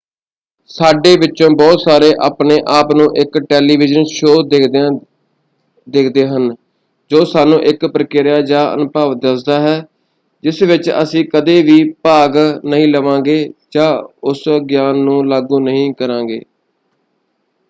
ਸਾਡੇ ਵਿਚੋਂ ਬਹੁਤ ਸਾਰੇ ਆਪਣੇ ਆਪ ਨੂੰ ਇਕ ਟੈਲੀਵਿਜ਼ਨ ਸ਼ੋਅ ਦੇਖਦਿਆਂ ਦੇਖਦੇ ਹਨ ਜੋ ਸਾਨੂੰ ਇਕ ਪ੍ਰਕਿਰਿਆ ਜਾਂ ਅਨੁਭਵ ਦੱਸਦਾ ਹੈ ਜਿਸ ਵਿੱਚ ਅਸੀਂ ਕਦੇ ਵੀ ਭਾਗ ਨਹੀਂ ਲਵਾਂਗੇ ਜਾਂ ਉਸ ਗਿਆਨ ਨੂੰ ਲਾਗੂ ਨਹੀਂ ਕਰਾਂਗੇ।